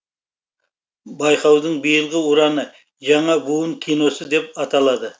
байқаудың биылғы ұраны жаңа буын киносы деп аталады